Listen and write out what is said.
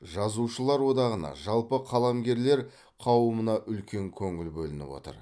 жазушылар одағына жалпы қаламгерлер қауымына үлкен көңіл бөлініп отыр